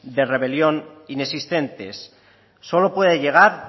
de rebelión inexistentes solo puede llegar